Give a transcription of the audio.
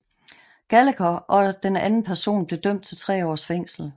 Gallagher og den anden person blev dømt til 3 års fængsel